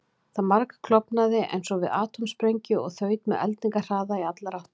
Það margklofnaði eins og við atómsprengingu og þaut með eldingarhraða í allar áttir.